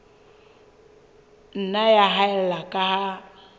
nna ya haella ka ha